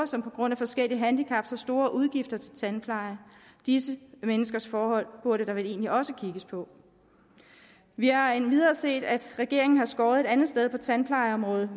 som på grund af forskellige handicap har store udgifter til tandpleje disse menneskers forhold burde der vel egentlig også kigges på vi har endvidere set at regeringen har skåret et andet sted på tandplejeområdet